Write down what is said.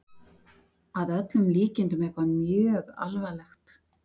Að öllum líkindum eitthvað mjög alvarlegt.